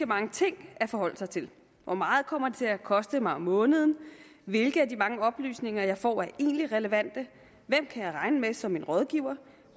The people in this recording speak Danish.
mange ting at forholde sig til hvor meget kommer det til at koste mig om måneden hvilke af de mange oplysninger jeg får er egentlig relevante hvem kan jeg regne med som en rådgiver